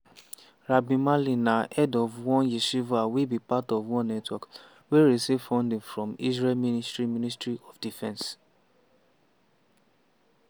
rabbi mali na head of one yeshiva wey be part of one network wey receive funding from israel ministry ministry of defence.